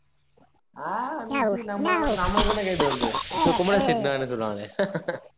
ஆஹ் miss நம்ம நாமல நமாகிட்ட கேட்டு வருது இப்ப குமரன் திட்னா என்ன சொல்லுவாங்க